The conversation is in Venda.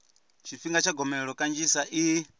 tshifhinga tsha gomelelo kanzhisa i